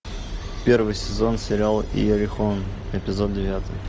первый сезон сериала иерихон эпизод девятый